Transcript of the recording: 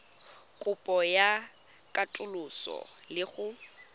kopo ya katoloso le go